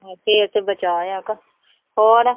ਫਿਰ ਤੇ ਬਚਾਅ ਆ ਕਿ ਹੋਰ।